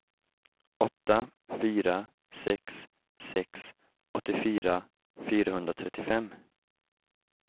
åtta fyra sex sex åttiofyra fyrahundratrettiofem